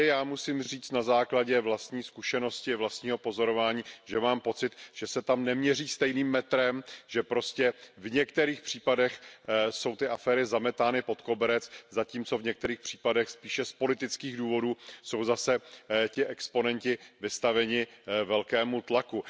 Musím říci na základě vlastní zkušenosti, vlastního pozorování, že mám pocit, že se tam neměří stejným metrem, že prostě v některých případech jsou ty aféry zametány pod koberec, zatímco v některých případech spíše z politických důvodů jsou zase ti exponenti vystaveni velkému tlaku.